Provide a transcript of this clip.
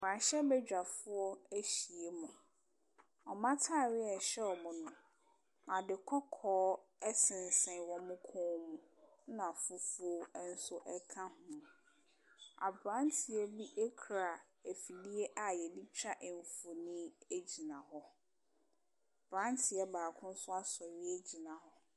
Mmarahyɛbadwafoɔ ahyiam. Wɔn atareɛ a ɛhyɛ wɔn no, ade kɔkɔɔ sensɛn wɔn kɔn mu, ɛnna fufuo nso ka ho. Aberanteɛ bi kura afidie a wɔde twa mfonin gyina hɔ. Aberanteɛ baako nso asɔre agyina hɔ.